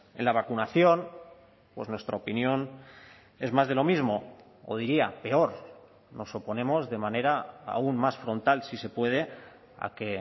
en la vacunación pues nuestra opinión es más de lo mismo o diría peor nos oponemos de manera aún más frontal si se puede a que